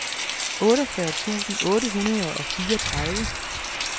otteogfyrre tusind otte hundrede og fireogtredive